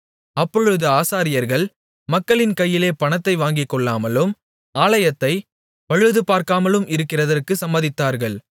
அப்பொழுது ஆசாரியர்கள் மக்களின் கையிலே பணத்தை வாங்கிக்கொள்ளாமலும் ஆலயத்தைப் பழுதுபார்க்காமலும் இருக்கிறதற்குச் சம்மதித்தார்கள்